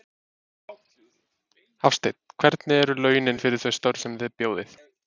Hafsteinn: Hvernig eru launin fyrir þau störf sem þið bjóðið?